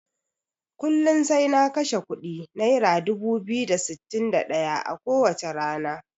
Kullun sai na kashe kuɗi naira dubu biyu da sittin da ɗaya ko wacce rana.